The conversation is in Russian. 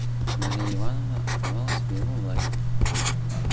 марья ивановна оставалась в его власти